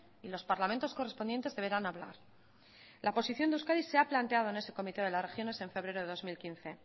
y los parlamentos correspondientes deberán hablar la posición de euskadi se ha planteado en ese comité de las regiones en febrero de dos mil quince